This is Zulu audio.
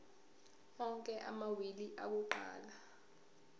onke amawili akuqala